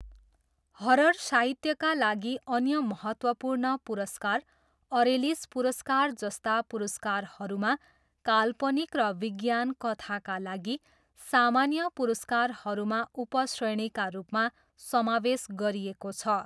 Horror साहित्यका लागि अन्य महत्त्वपूर्ण पुरस्कार, अरेलिस पुरस्कार जस्ता पुरस्कारहरूमा काल्पनिक र विज्ञान कथाका लागि सामान्य पुरस्कारहरूमा उपश्रेणीका रूपमा समावेश गरिएको छ।